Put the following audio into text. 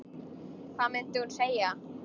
Hvað mundi hún segja?